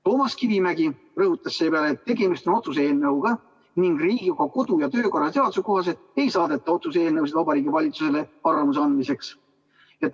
Toomas Kivimägi rõhutas seepeale, et tegemist on otsuse eelnõuga ning Riigikogu kodu- ja töökorra seaduse kohaselt ei saadeta otsuse eelnõusid Vabariigi Valitsusele arvamuse andmiseks.